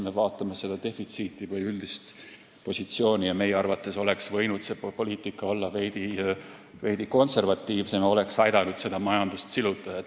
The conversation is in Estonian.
Me vaatame defitsiiti või üldist positsiooni ja meie arvates oleks võinud see poliitika olla veidi konservatiivsem, see oleks aidanud seda majandust siluda.